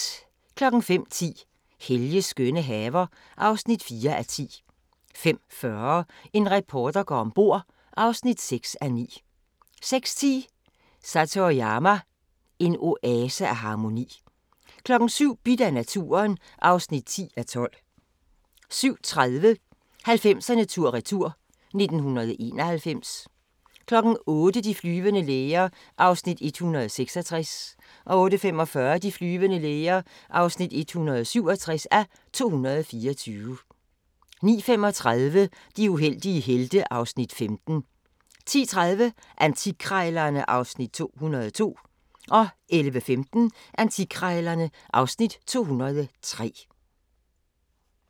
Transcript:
05:10: Helges skønne haver (4:10) 05:40: En reporter går om bord (6:9) 06:10: Satoyama – en oase af harmoni 07:00: Bidt af naturen (10:12) 07:30: 90'erne tur-retur: 1991 08:00: De flyvende læger (166:224) 08:45: De flyvende læger (167:224) 09:35: De uheldige helte (Afs. 15) 10:30: Antikkrejlerne (Afs. 202) 11:15: Antikkrejlerne (Afs. 203)